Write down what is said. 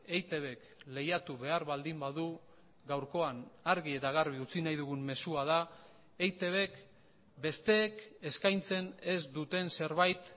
eitbk lehiatu behar baldin badu gaurkoan argi eta garbi utzi nahi dugun mezua da eitbk besteek eskaintzen ez duten zerbait